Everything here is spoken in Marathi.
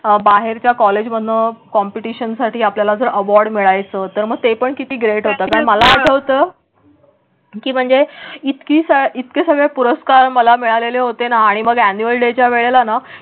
बाहेरच्या कॉलेजमधून कॉम्पिटिशनसाठी आपल्याला जर अवॉर्ड मिळायचं तर मग ते पण किती ग्रेट हो तुम्ही मला आठवत. की म्हणजे इतकी इतके सगळे पुरस्कार मला मिळालेले होते ना? आणि मग ऍन्युअल डेच्या वेळेलाना बाहेर